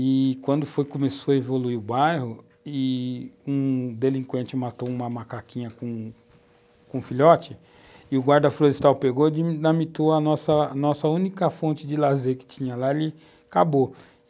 E quando começou a evoluir o bairro e um delinquente matou uma macaquinha com um filhote, e o guarda florestal pegou e a nossa única fonte de lazer que tinha lá, ele acabou.